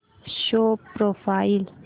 show profile